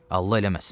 Allah eləməsin.